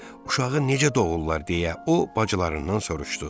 Uşağı necə doğurlar deyə o bacılarından soruşdu.